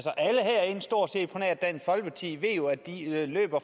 at dansk folkeparti er og at de løb